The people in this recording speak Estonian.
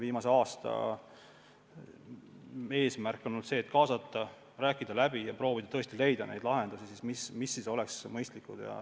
Viimase aasta tõsine eesmärk on olnud kaasata, läbi rääkida ja proovida leida lahendusi, mis on mõistlikud.